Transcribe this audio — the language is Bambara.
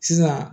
Sisan